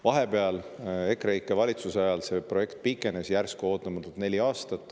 Vahepeal, EKREIKE valitsuse ajal, see projekt pikenes järsku neli aastat.